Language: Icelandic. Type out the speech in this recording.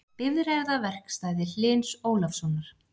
Bifreiðaverkstæði Hlyns Ólafssonar.